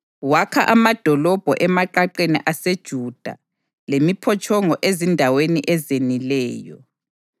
Wakha amadolobho emaqaqeni aseJuda lemiphotshongo ezindaweni ezenileyo.